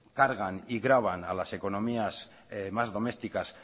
cargan y graban a las economías más domésticas